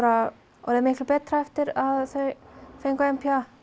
orðið miklu betra eftir að þau fengu n p a